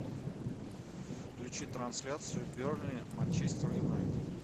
включи трансляцию бернли манчестер юнайтед